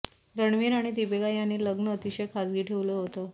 रणवीर आणि दीपिका यांनी लग्न अतिशय खाजगी ठेवलं होतं